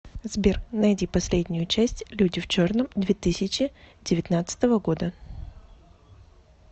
сбер найди последнею часть люди в черном две тысячи девятнадцатого года